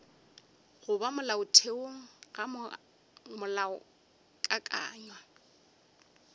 go ba molaotheong ga molaokakanywa